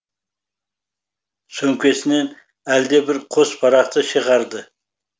сөмкесінен әлде бір қос парақты шығарды